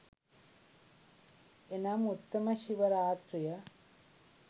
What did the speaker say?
එනම් උත්තම ශිව රාත්‍රිය